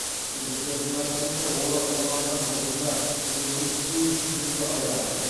күдіктілердің айтуынша олар ұрланған жылқыны көзге түспеу үшін түнде айдаған